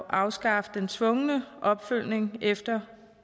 afskaffe den tvungne opfølgning efter